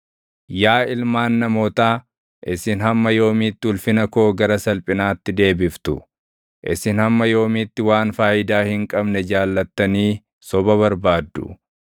Yaa ilmaan namootaa, isin hamma yoomiitti ulfina koo gara salphinaatti deebiftu? Isin hamma yoomiitti waan faayidaa hin qabne jaallattanii soba barbaaddu?